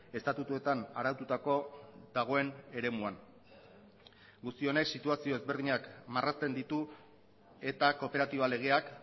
estatutuetan araututako dagoen eremuan guzti honek situazio ezberdinak marrazten ditu eta kooperatiba legeak